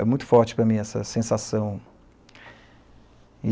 É muito forte para mim essa sensação.